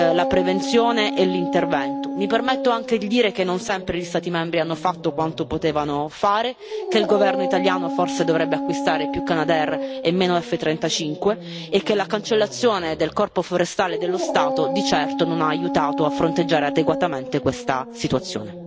la prevenzione e gli interventi antincendio. Mi permetto anche di dire che non sempre gli Stati membri hanno fatto quanto potevano fare, che il Governo italiano dovrebbe forse acquistare più Canadair e meno F35 e che l'abolizione del Corpo forestale dello Stato di certo non ha aiutato a fronteggiare adeguatamente questa situazione.